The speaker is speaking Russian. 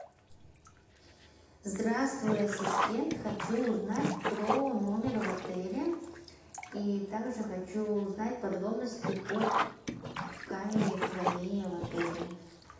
здравствуй ассистент хочу узнать про номер в отеле и также хочу узнать подробности по камере хранения в отеле